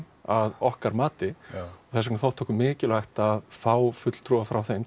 að okkar mati og þess vegna þótti okkur mikilvægt að fá fulltrúa frá þeim